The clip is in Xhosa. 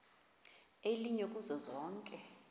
elinye kuzo zonke